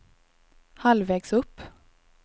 halvvägs upp